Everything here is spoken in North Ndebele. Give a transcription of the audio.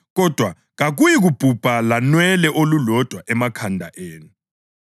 Kodwa kakuyikubhubha lanwele olulodwa emakhanda enu.